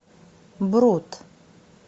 брут